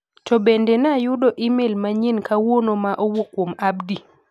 To bende na ayudo imel manyien kawuono ma owuok kuom Abdi?